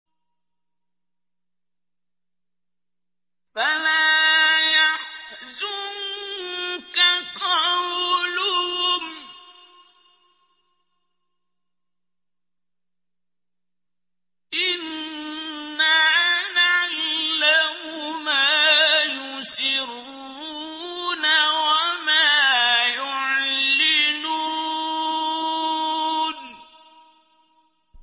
فَلَا يَحْزُنكَ قَوْلُهُمْ ۘ إِنَّا نَعْلَمُ مَا يُسِرُّونَ وَمَا يُعْلِنُونَ